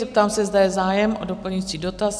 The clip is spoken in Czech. Zeptám se, zda je zájem o doplňující dotaz?